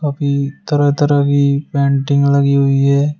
यहां भी तरह तरह की पेंटिंग लगी हुई है।